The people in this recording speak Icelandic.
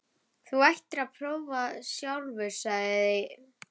Þú ættir að prófa sjálfur, sagði